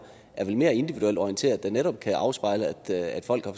er vel mere individuelt orienterede og kan netop afspejle at folk er